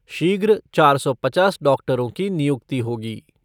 शीघ्र चार सौ पचास डॉक्टरों की नियुक्ति होगी।